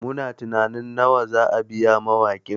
Muna tunanin nawa za mu biya mawakin